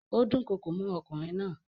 Ó dúnkokò mọ́ ọkùnrin náà.